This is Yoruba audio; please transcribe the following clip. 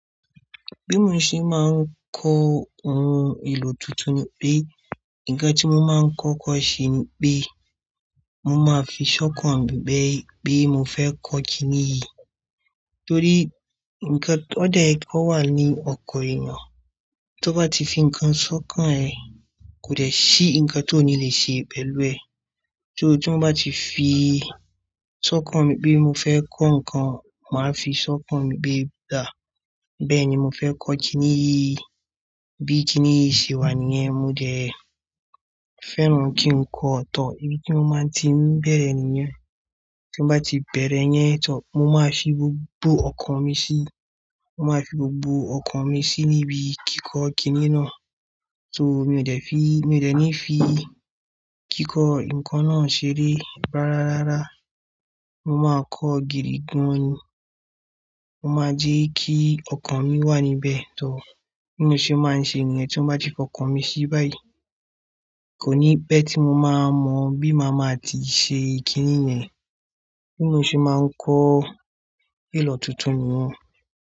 Bí mo ṣe máa ń kọ ohun èlò tuntun ní pé, ǹkan tí mo máa ń kọ́ kọ́ ṣe ni pé, mo máa fi ṣọ́kàn mi bẹ́ẹ̀ pé mo fẹ́ kọ kiní yìí. Torí ǹkan ọ̀dẹ̀ kọ wà ní ọkàn èèyàn, tó bá ti fi ǹkan ṣọ́kàn ẹ, kò dẹ̀ sí ǹkan tó ò ní lè ṣe pẹ̀lú ẹ. Só ti mo bá ti fi ṣọ́kàn mi pé mo fẹ́ kọ́ ǹkan, màá fi ṣọ́kàn mi pé dà, bẹ́ẹ̀ ni mo fẹ́ kọ kiní yìí. Bí kiní yìí ṣe wà níyẹn, mo dẹ̀ fẹ́ràn kí n kọ ọ̀tọ, ibi tí mo máa ti ń bẹ̀rẹ̀ níyẹn. Tó bá ti bẹ̀rẹ̀ yẹn tá, mo máa fi gbogbo ọkàn mi sí, mo máa fi gbogbo ọkàn mi sí ibi kíkọ kiní náà. So mi ò dẹ̀ fi, mi ò dẹ̀ ní fi kíkọ ǹkan náà ṣeré rárá rárá. Mo máa kọ́ gìrìgun ní, mo máa jẹ́ kí ọkàn mi wà níbẹ̀ tá. Bí mo ṣe máa ń ṣe níyen tí mo bá ti fọkàn mi sí báyìí, kò ní bẹ́ẹ̀ tí mo máa mọ̀ bí màá máa ti ṣe kiní yẹn. Bí mo ṣe máa ń kọ èlò tuntun nìyẹn.